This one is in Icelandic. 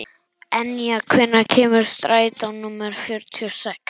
Enja, hvenær kemur strætó númer fjörutíu og sex?